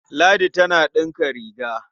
Ladi tana ɗinka riga.